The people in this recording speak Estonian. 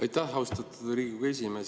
Aitäh, austatud Riigikogu esimees!